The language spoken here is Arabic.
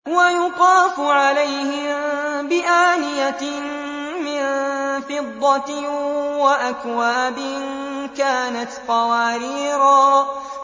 وَيُطَافُ عَلَيْهِم بِآنِيَةٍ مِّن فِضَّةٍ وَأَكْوَابٍ كَانَتْ قَوَارِيرَا